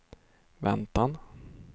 väntan